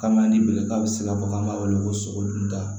Kama ni bɛlɛta bɛ se ka bɔ an b'a wele ko sogo dun ta